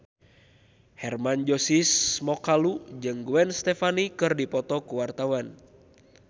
Hermann Josis Mokalu jeung Gwen Stefani keur dipoto ku wartawan